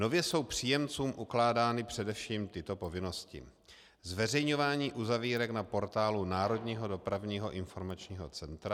Nově jsou příjemcům ukládány především tyto povinnosti: zveřejňování uzavírek na portálu Národního dopravního informačního centra;